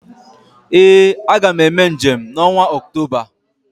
ee Aga m eme njem n’ọnwa Ọktoba